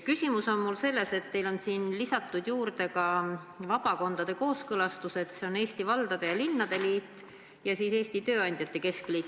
Küsimus on mul selles, et teil on siia lisatud juurde ka vabakondade kooskõlastused, Eesti Valdade ja Linnade Liidult ja Eesti Tööandjate Keskliidult.